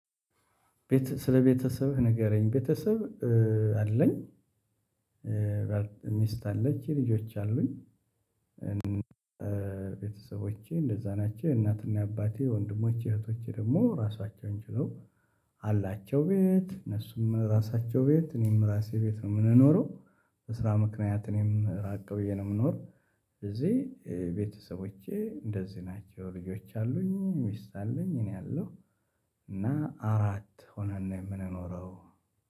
ቤት ስለ ቤተሰብህ ንገረኝ ቤተሰብ አለኝ። ሚስት አለችኝ ልጆች አሉኝ። ቤተሰቦቼ እንደዛ ናቸው እናትና አባቴ ወንድሞቼ እህቶቼ ደግሞ ራሳቸውን ችለው አላቸው። ቤት እነሱም ራሳቸው ቤት እኔም ራሴ ቤት ነው። የምንኖረው በስራ ምክንያት እኔም ራቅ ብዬ ነው የምኖር። እዚህ ቤተሰቦቼ እንደዚህ ናቸው። ልጆች አሉኝ ሚስት አለኝ እኔ አለው እና አራት ሆነን ነው የምንኖረው